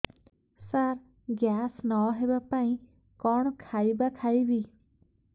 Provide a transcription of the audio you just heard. ସାର gas ନ ହେବା ପାଇଁ କଣ ଖାଇବା ଖାଇବି